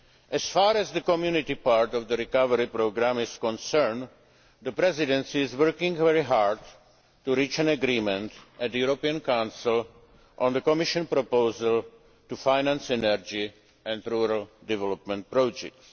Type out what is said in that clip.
As far as the Community part of the Recovery Programme is concerned, the Presidency is working very hard to reach an agreement in the European Council on the Commission proposal to finance energy and rural development projects.